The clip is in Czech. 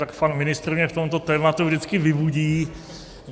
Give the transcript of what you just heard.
Tak pan ministr mě v tomto tématu vždycky vybudí.